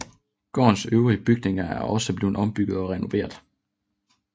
Gårdens øvrige bygninger er også blevet ombygget og renoveret